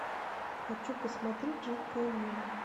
хочу посмотреть жидкое небо